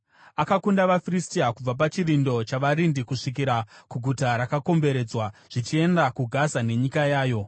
Akakunda vaFiristia, kubva pachirindo chavarindi kusvikira kuguta rakakomberedzwa, zvichienda kuGaza nenyika yayo.